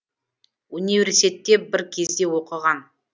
университетте де бір кезде оқыған